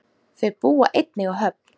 Þau búa einnig á Höfn.